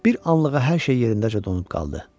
Bir anlığa hər şey yerindəcə donub qaldı.